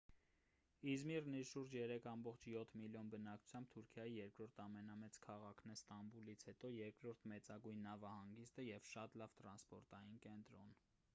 իզմիրն իր շուրջ 3,7 մլն բնակչությամբ թուրքիայի երրորդ ամենամեծ քաղաքն է ստամբուլից հետո երկրորդ մեծագույն նավահանգիստը և շատ լավ տրանսպորտային կենտրոն